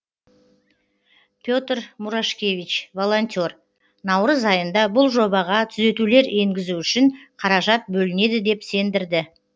пе тр мурашкевич волонтер наурыз айында бұл жобаға түзетулер енгізу үшін қаражат бөлінеді деп сендірді